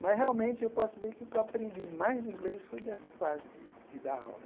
Mas realmente eu posso dizer que o que eu aprendi mais de inglês foi dessa fase de de dar aula.